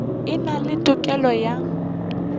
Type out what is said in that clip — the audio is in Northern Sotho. e na le tokelo ya